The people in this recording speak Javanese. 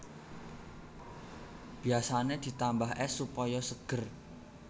Biasané ditambah ès supaya seger